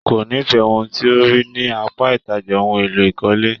Kò n'ifẹ ohun tí o rí ní apá ìtajà ohùn èlò ìkọ́lé.